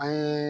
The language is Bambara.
An ye